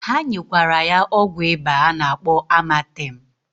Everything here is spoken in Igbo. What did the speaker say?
Ha nyekwara ya ọgwụ ịba a na-akpọ amatem.